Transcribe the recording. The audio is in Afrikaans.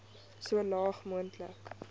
so laag moontlik